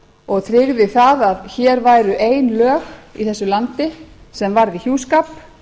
og tryggði það að hér væru ein lög í þessu landi sem varði hjúskap